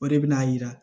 O de bɛ n'a yira